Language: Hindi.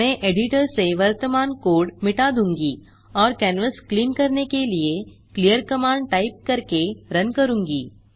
मैं एडिटर से वर्तमान कोड मिटा दूँगा और कैनवास क्लिन करने के लिए क्लीयर कमांड टाइप करके रन करूँगा